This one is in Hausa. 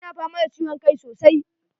Ina fama da ciwon kai sosai.